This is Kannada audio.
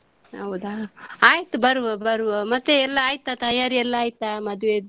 ಹೌದಾ ಆಯ್ತು ಬರುವ ಬರುವ ಮತ್ತೆ ಎಲ್ಲ ಆಯ್ತಾ ತಯಾರಿ ಎಲ್ಲ ಆಯ್ತಾ ಮದುವೆಯದ್ದು?